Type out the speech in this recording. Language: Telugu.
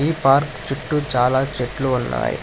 ఈ పార్కు చుట్టు చాలా చెట్లు ఉన్నాయి.